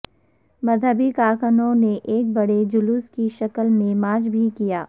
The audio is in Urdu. مذہبی کارکنوں نے ایک بڑے جلوس کی شکل میں مارچ بھی کیا